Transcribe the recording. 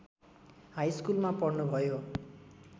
हाइस्कुलमा पढ्नुभयो